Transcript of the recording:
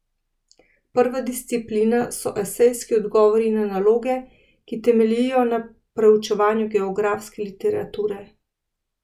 Prva disciplina so esejski odgovori na naloge, ki temeljijo na preučevanju geografske literature.